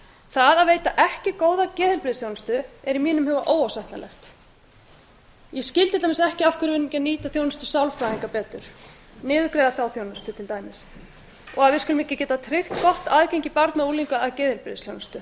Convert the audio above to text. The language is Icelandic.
það að veita ekki góða geðheilbrigðisþjónustu er í mínum huga óásættanlegt ég skil til dæmis ekki af hverju við erum ekki að nýta þjónustu sálfræðinga betur niðurgreiða þá þjónustu til dæmis og að við skulum ekki geta tryggt gott aðgengi barna og unglinga að geðheilbrigðisþjónustu þetta